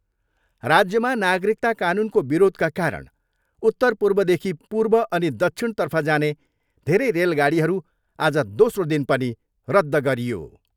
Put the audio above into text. राज्यमा नागरिकता कानुनको विरोधका कारण उत्तरपूर्वदेखि पूर्व अनि दक्षिण तर्फ जाने धेरै रेलगाडीहरू आज दोस्रो दिन पनि रद्ध गरियो।